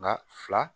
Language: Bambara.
Maa fila